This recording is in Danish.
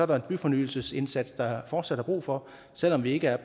der en byfornyelsesindsats som der fortsat er brug for selv om vi ikke er